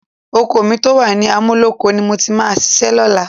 Oko mi tó wà ní Amúlóko ni mo ti máa ṣiṣẹ́ lọ́la